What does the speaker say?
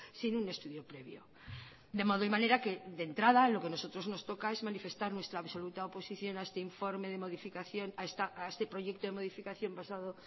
sin un estudio previo de modo y manera que de entrada a lo que nosotros nos toca es manifestar nuestra absoluta oposición a este informe de modificación a este proyecto de modificación basado